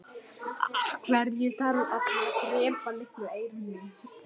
Hvað sem pabbi sagði.